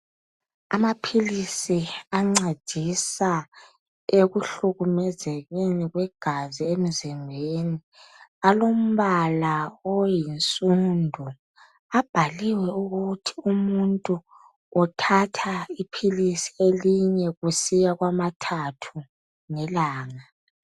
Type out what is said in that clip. Amaphilizi ancedisa ekuhlukumezekeni kwegazi emzimbeni alombala oyinsundu abhaliwe ukuthi umuntu uthatha iphilisi lelinye kusiya kwamathathu ngelanga.